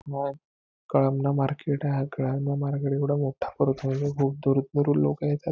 Kalamna market आहे. हा Kalamna market एवढा मोठं भरतो कि खूप दूर दुरुन लोकं येतात.